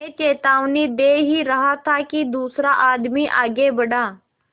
मैं चेतावनी दे ही रहा था कि दूसरा आदमी आगे बढ़ा